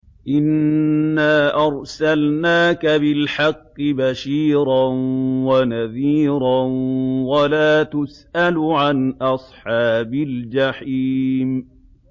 إِنَّا أَرْسَلْنَاكَ بِالْحَقِّ بَشِيرًا وَنَذِيرًا ۖ وَلَا تُسْأَلُ عَنْ أَصْحَابِ الْجَحِيمِ